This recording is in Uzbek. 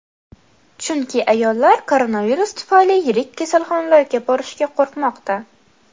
Chunki ayollar koronavirus tufayli yirik kasalxonalarga borishga qo‘rqmoqda.